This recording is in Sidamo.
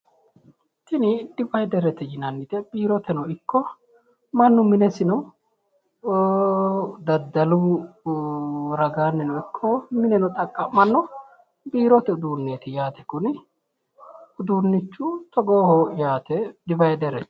tini dividerete yinannite biiroteno ikko mannu minesino dadalu ragaanni no ikko minenono xaqqammanno biiirote uduunneeti yaate kuni uduunnichu togooho yaate dividerete.